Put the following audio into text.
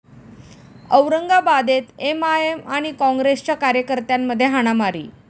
औरंगाबादेत MIM आणि काँग्रेसच्या कार्यकर्त्यांमध्ये हाणामारी